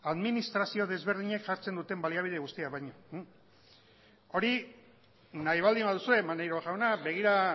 administrazio desberdinek jartzen duten baliabide guztiak baino hori nahi baldin baduzue maneiro jauna begira